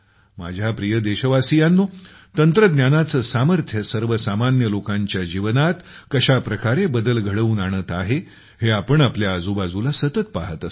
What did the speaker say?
माझ्या प्रिय देशवासियांनो तंत्रज्ञानाचे सामर्थ्य सर्वसामान्य लोकांच्या जीवनात कशा प्रकारे बदल घडवून आणत आहे हे आपण आपल्या आजूबाजूला सतत पाहत असतो